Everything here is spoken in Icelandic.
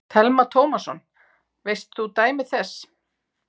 Telma Tómasson: Veist þú dæmi þess?